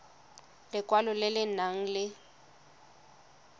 lekwalo le le nang le